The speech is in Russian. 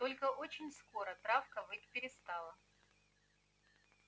только очень скоро травка выть перестала